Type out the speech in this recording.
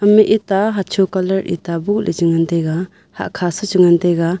ehma ita hacho colour ita bohjaw chingantaiga hahkha se chingantaiga.